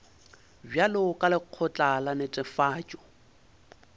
bjalo ka lekgotla la netefatšo